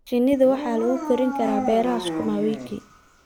Shinnida waxa lagu korin karaa beeraha sukuma wiki.